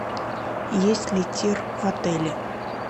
есть ли тир в отеле